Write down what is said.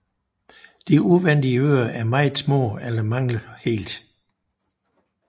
De udvendige ører er meget små eller mangler helt